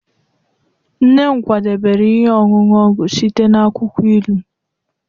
nne m kwadebere ihe ọṅụṅụ ọgwụ site na akwukwo ilu